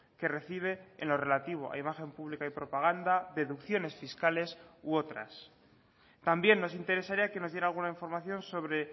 que recibe en lo relativo a imagen pública y propaganda deducciones fiscales u otras también nos interesaría que nos diera alguna información sobre